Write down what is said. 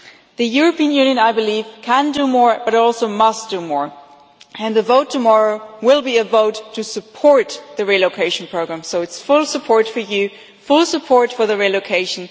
The European Union, I believe, can and must do more, and the vote tomorrow will be a vote to support the relocation program, so it's full support for you and full support for the relocation.